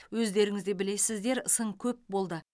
өздеріңізде білесіздер сын көп болды